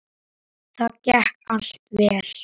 Það gekk allt vel.